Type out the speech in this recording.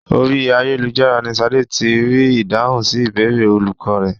Orí ayélujára ni Ṣadé ti rí ìdáhùn sí ìbéèrè olùkọ́ rẹ̀.